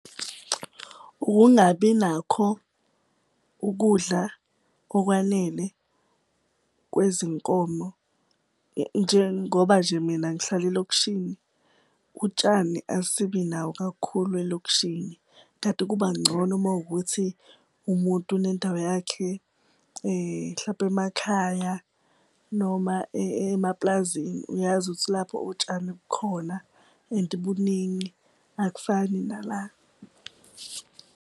Ukungabi nakho ukudla okwanele kwezinkomo. Njengoba nje mina ngihlala elokishini, utshani asibi nawo kakhulu elokishini kanti kuba ngcono mawukuthi umuntu unendawo yakhe hlampe emakhaya noma emaplazini. Uyazi ukuthi lapho utshani bukhona and buningi akufani nala.